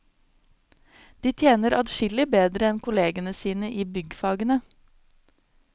De tjener adskillig bedre enn kollegene sine i byggfagene.